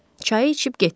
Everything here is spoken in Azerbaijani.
Çayı içib getdi.